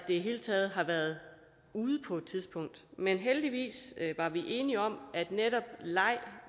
det hele taget har været ude på et tidspunkt men heldigvis var vi enige om at netop leg